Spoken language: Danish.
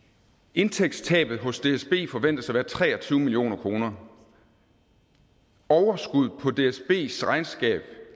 indtægtstabet hos dsb forventes at være tre og tyve million kroner overskuddet på dsbs regnskab